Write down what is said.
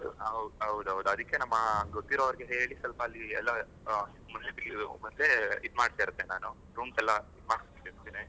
ಹೌದ್ ಹೌದ್ ಅದಿಕ್ಕೆ ನಮ್ಮ ಗೊತ್ತಿರುವವರಿಗೆ ಹೇಳಿ ಸ್ವಲ್ಪ ಅಲ್ಲಿ ಎಲ್ಲ ಮತ್ತೆ ಈದ್ ಮಾಡ್ತಾ ಇರ್ತೆ ನಾನು rooms ಎಲ್ಲ ಈದ್ ಮಾಡಿರ್ತೇ ನಾನು